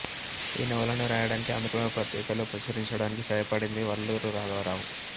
ఈ నవలను రాయడానికి ఆంధ్రప్రభ పత్రికలో ప్రచురించడానికి సహాయపడింది వల్లూరు రాఘవ రావు